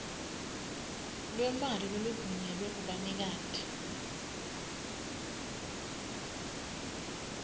lwemali loluvunyelwe kubanikati